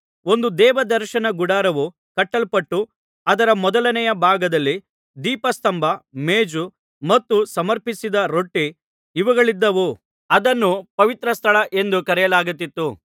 ಒಂದು ದೇವದರ್ಶನ ಗುಡಾರವು ಕಟ್ಟಲ್ಪಟ್ಟು ಅದರ ಮೊದಲನೆಯ ಭಾಗದಲ್ಲಿ ದೀಪಸ್ತಂಭ ಮೇಜು ಮತ್ತು ಸಮರ್ಪಿಸಿದ ರೊಟ್ಟಿ ಇವುಗಳಿದ್ದವು ಅದನ್ನು ಪವಿತ್ರಸ್ಥಳ ಎಂದು ಕರೆಯಲಾಗುತ್ತಿತು